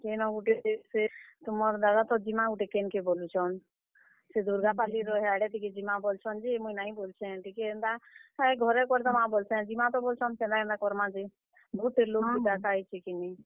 କେନ୍ ଗୁଟେ ଯେ ଫେର୍, ତୁମର୍ ଦାଦା ତ ଯିମା ଗୁଟେ କେନ୍ କେ ବୋଲୁଛନ୍। ସେ ଦୁର୍ଗା ପାଲିର ହେଆଡେ ଟିକେ ଯିମା ବୋଲୁଛନ୍ ଯେ, ମୁଇଁ ନାଇଁ ବୋଲୁଛେଁ। ଟିକେ ହେନ୍ ତା ହେ ଘରେ କରିଦେମାଁ ବୋଲୁଛେଁ। ଯିମା ତ ବୋଲୁଛନ୍ କେନ୍ ତା, କେନ୍ ତା କରମା ଯେ, ବହୁତ୍ ଟେ ଲୋକ୍ କେ ଡାକା ହେଇଛେ କିନି।